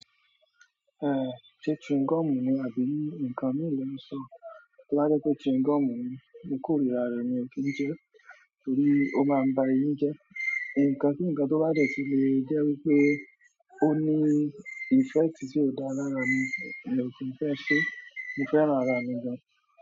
Eh, se chewing gum ni àbí nǹkan mí ò lè un sọ. To bá jẹ́ pé chewing gum ni mo kòrira rẹ̀ mi ò kí n jẹ́, torí ó máa ń ba eyín jẹ́. Ǹǹkan tí ǹkan tó bá jẹ́ ti lè jẹ́ wípé ó ní effect tí ò dá lára mi, mi ò kí ń fẹ́ ṣe. Mo fẹ́ran ara mi gan.